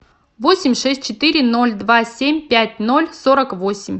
восемь шесть четыре ноль два семь пять ноль сорок восемь